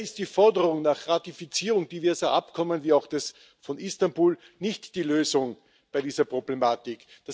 Leider ist die Forderung nach Ratifizierung diverser Übereinkommen wie auch des Übereinkommens von Istanbul nicht die Lösung bei dieser Problematik.